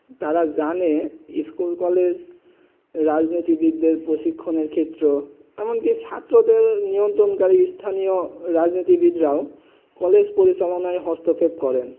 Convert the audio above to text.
তারা জানে school college রাজনীতি বিদ্রোহী প্রশিক্ষণ ক্ষেত্র এমন কি ছাত্র দেড় নিয়ন্ত্রকারী স্থান রাজনীতি বিদ্রোহ কলেজ পরিচালনে হস্তচ্ছেপ করেন